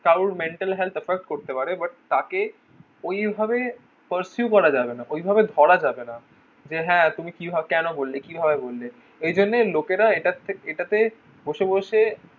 কারোর mental health effect করতে পারে but তাকে ওই ভাবে first you করা যাবে না ওই ভাবে ধরা যাবে না যে হ্যাঁ তুমি কি ভাবে কোনো বললে কি ভাবে বললে ওই জন্য লোকের এটার থেকে এটা তে বসে বসে